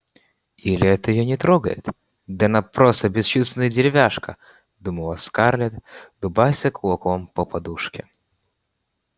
или это её не трогает да просто она бесчувственная деревяшка думала скарлетт дубася кулаком по подушке